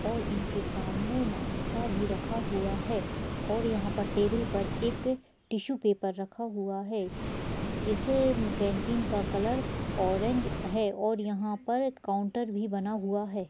और इनके सामने नाश्ता भी रखा हुआ है और यहां पर टेबल पर एक टिशू पेपर रखा हुआ है। इस कैंटीन का कलर ऑरेंज है और यहां पर काउंटर भी बना हुआ है।